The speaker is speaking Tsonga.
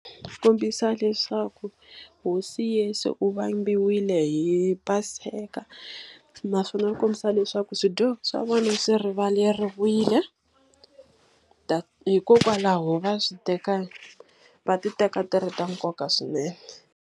Ku kombisa leswaku hosi Yeso u vambiwile hi Paseka. Naswona ku kombisa leswaku swidyoho swa vona swi rivaleriwile. Hikokwalaho va swi teka va ti teka ti ri ta nkoka swinene.